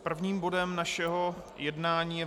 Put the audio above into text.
Prvním bodem našeho jednání je